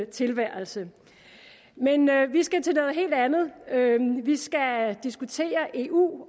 tilværelse men vi skal til noget helt andet vi skal diskutere eu